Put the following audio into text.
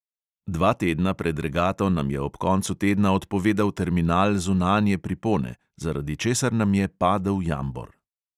Dva tedna pred regato nam je ob koncu tedna odpovedal terminal zunanje pripone, zaradi česar nam je padel jambor.